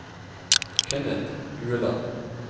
Kenneth Ueland